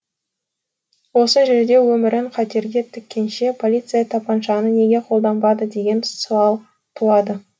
осы жерде өмірін қатерге тіккенше полиция тапаншаны неге қолданбады деген сауал туады